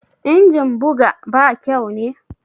Injin buga ba kyau ne?